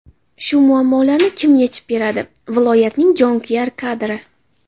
Shu muammolarni kim yechib beradi, viloyatning jonkuyar kadri.